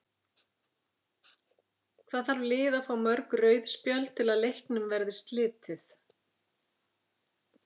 Hvað þarf lið að fá mörg rauð spjöld til að leiknum verði slitið?